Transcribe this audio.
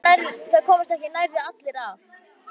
Það komast ekki nærri allir að.